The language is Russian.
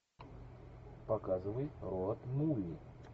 показывай роуд муви